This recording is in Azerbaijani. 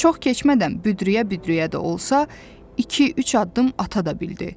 Çox keçmədən büdrüyə-büdrüyə də olsa, iki-üç addım ata da bildi.